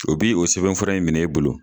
O bi o sɛbɛn fura in minɛ bolo